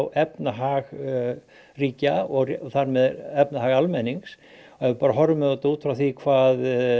efnahag ríkja og þar með efnahag almennings ef við horfum á þetta út frá því hvað